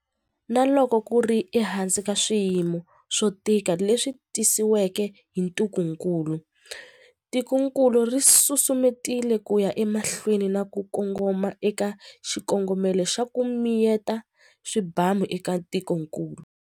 Na loko ku ri ehansi ka swiyimo swo tika leswi tisiweke hi ntungukulu, tikokulu ri susumetile ku ya emahlweni na ku kongoma eka xikongomelo xa 'ku mi yeta swibamu' eka tikokulu.